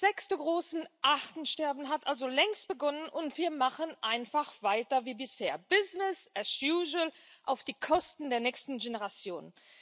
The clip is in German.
Das sechste große Artensterben hat also längst begonnen, und wir machen einfach weiter wie bisher, auf Kosten der nächsten Generation.